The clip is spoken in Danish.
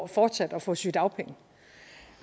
fortsat at få sygedagpenge